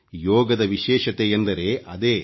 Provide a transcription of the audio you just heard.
ಯೋಗದ ವಿಶೇಷಯೆಂದರೆ ಅದೇ